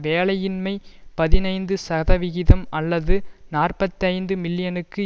வேலையின்மை பதினைந்து சதவிகிதம் அல்லது நாற்பத்தி ஐந்து மில்லியனுக்கு